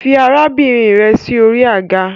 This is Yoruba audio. Fi arabinrin rẹ si ori aga